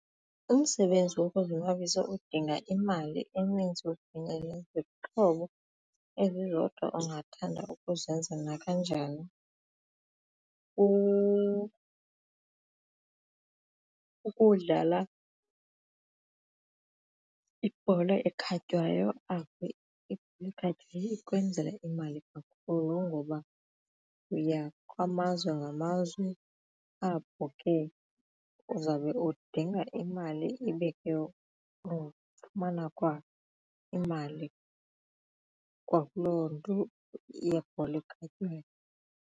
Umsebenzi wokuzonwabisa odinga imali eninzi udinge nezixhobo ezizodwa ungathanda ukuzenzela kanjani kukudlala ibhola ekhatywayo ikwenzela imali kakhulu ngoba uya kwamazwe ngamazwe ewe apho ke uzawube udinga imali ibe ke ufumana kwa imali kwakuloo nto yebhola ekhatywayo.